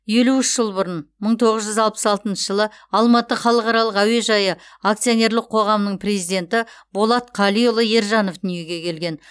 елу үш жыл бұрын мың тоғыз жүз алпыс алтыншы алматы халықаралық әуежайы акционерлік қоғамның президенті болат қалиұлы ержанов дүниеге келген